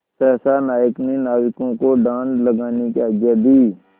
सहसा नायक ने नाविकों को डाँड लगाने की आज्ञा दी